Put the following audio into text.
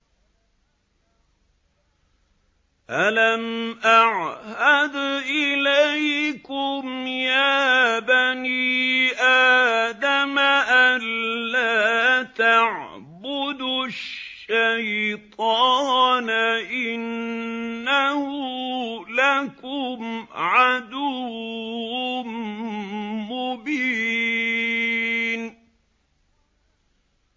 ۞ أَلَمْ أَعْهَدْ إِلَيْكُمْ يَا بَنِي آدَمَ أَن لَّا تَعْبُدُوا الشَّيْطَانَ ۖ إِنَّهُ لَكُمْ عَدُوٌّ مُّبِينٌ